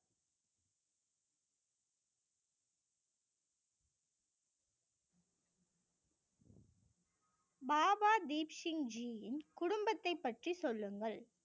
பாபா தீப் சிங்க் ஜியின் குடும்பத்தை பற்றி சொல்லுங்கள்